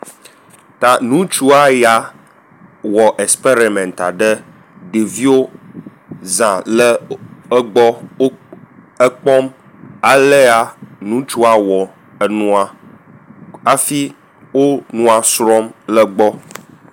Ta ŋutsua ya wɔ experiment aɖe ɖeviwo zã le w egbɔ w ekpɔm elea ŋutsua wɔ enua afi o nua srɔ̃m egbɔ.